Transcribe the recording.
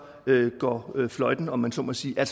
går fløjten om man så må sige jeg